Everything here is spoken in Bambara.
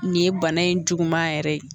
Nin ye bana in juguman yɛrɛ ye